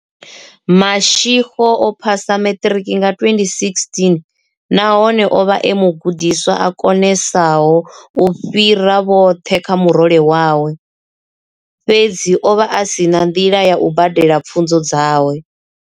Mashego o phasa maṱiriki nga 2016 nahone o vha e mugudiswa a konesaho u fhira vhoṱhe kha murole wawe, fhedzi o vha a si na nḓila ya u badela pfunzo dzawe.